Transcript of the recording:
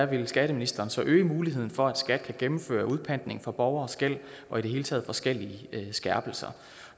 vil skatteministeren så øge muligheden for at skat kan gennemføre udpantning for borgeres gæld og i det hele taget forskellige skærpelser